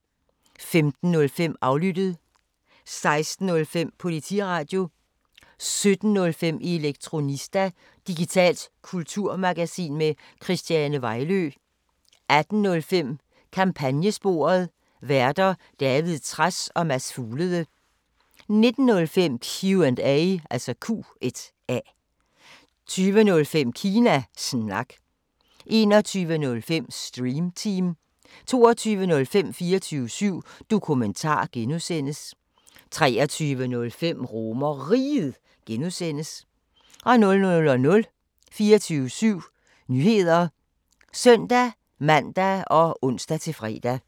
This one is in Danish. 15:05: Aflyttet 16:05: Politiradio 17:05: Elektronista – digitalt kulturmagasin med Christiane Vejlø 18:05: Kampagnesporet: Værter: David Trads og Mads Fuglede 19:05: Q&A 20:05: Kina Snak 21:05: Stream Team 22:05: 24syv Dokumentar (G) 23:05: RomerRiget (G) 00:00: 24syv Nyheder (søn-man og ons-fre)